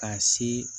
Ka se